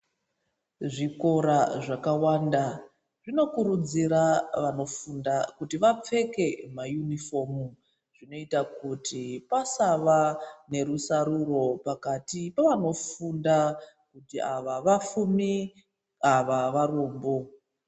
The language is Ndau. Zvikora zvakawanda zvinokurudzira vanofunda kuti vanopfeka mayunifomu zvinoita kuti pasava nerusaruro pakati pevanofunda kuti ava vapfumi ava varombo.